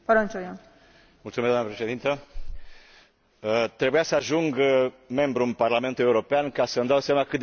Doamnă președintă, trebuia să ajung membru în Parlamentul European ca să îmi dau seama cât de mic este un minut.